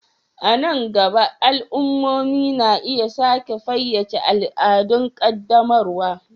A nan gaba, al'ummomi na iya sake fayyace al'adun ƙaddamarwa.